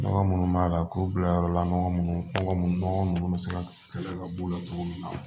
Nɔgɔ munnu b'a la k'u bila yɔrɔ la nɔgɔ munnu nɔgɔ nunnu bɛ se ka kɛlɛ ka bɔ cogo min na